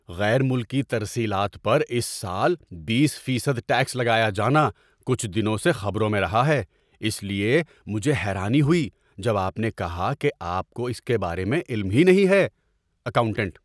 غیر ملکی ترسیلات پر اس سال بیس فیصد ٹیکس لگایا جانا کچھ دنوں سے خبروں میں رہا ہے، اس لیے مجھے حیرانی ہوئی جب آپ نے کہا کہ آپ کو اس کے بارے میں علم ہی نہیں ہے۔ (اکاؤنٹنٹ)